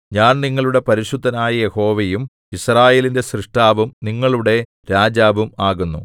ഞാൻ നിങ്ങളുടെ പരിശുദ്ധനായ യഹോവയും യിസ്രായേലിന്റെ സ്രഷ്ടാവും നിങ്ങളുടെ രാജാവും ആകുന്നു